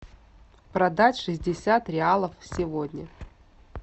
продать шестьдесят реалов сегодня